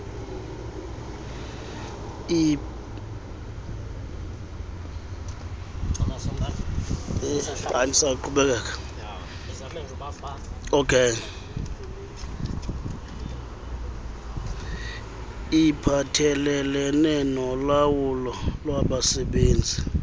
iphathelelene nolawulo lwabasebenzi